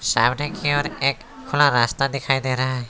सामने की ओर एक खुला रास्ता दिखाई दे रहा है।